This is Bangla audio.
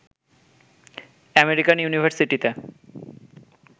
আমেরিকান ইউনিভারসিটিতে